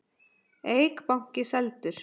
Eik banki seldur